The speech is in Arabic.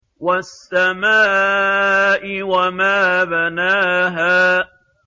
وَالسَّمَاءِ وَمَا بَنَاهَا